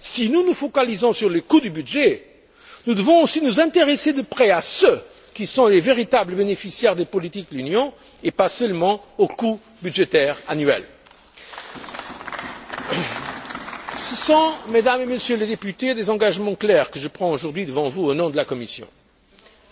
Si nous nous focalisons sur les coûts du budget, nous devons aussi nous intéresser de près à ceux qui sont les véritables bénéficiaires des politiques de l'Union et pas seulement aux coûts budgétaires annuels. Ce sont, Mesdames et Messieurs les députés, des engagements clairs que je prends aujourd'hui devant vous, au nom de la Commission.